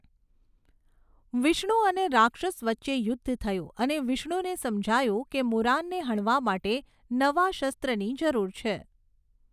વિષ્ણુ અને રાક્ષસ વચ્ચે યુદ્ધ થયું અને વિષ્ણુને સમજાયું કે મુરાનને હણવા માટે નવા શસ્ત્રની જરૂર છે.